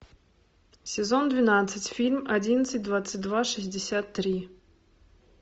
сезон двенадцать фильм одиннадцать двадцать два шестьдесят три